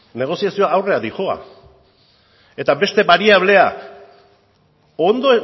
negoziazioa aurrera doa eta beste bariablea ondo